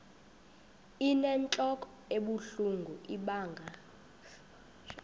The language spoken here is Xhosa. inentlok ebuhlungu ibanga